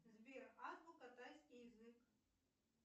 сбер азбука тайский язык